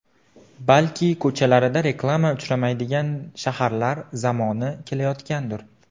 Balki ko‘chalarida reklama uchramaydigan shaharlar zamoni kelayotgandir?